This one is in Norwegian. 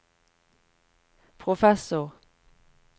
professor